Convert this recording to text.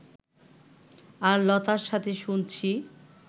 আর লতার সাথে শুনছি